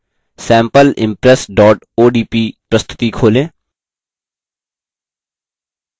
sampleimpress odp प्रस्तुति खोलें